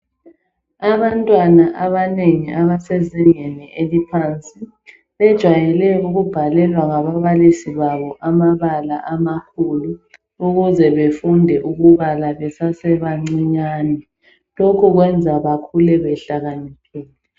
Abantwana abanengi abasezingeni eliphansi, bejwayele ukubhalelwa ngababalisi babo amabala amakhulu ukuze befunde ukubala besasebancinyane lokhu kwenza bakhule behlakaniphile